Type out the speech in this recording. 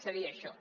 seria això